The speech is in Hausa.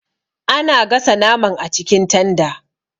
Ana gasa naman acikin tanda.